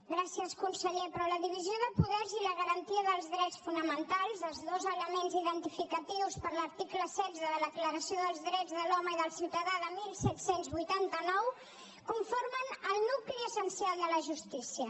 gràcies conseller però la divisió de poders i la garantia dels drets fonamentals els dos elements identificatius per l’article setze de la declaració dels drets de l’home i del ciutadà de disset vuitanta nou conformen el nucli essencial de la justícia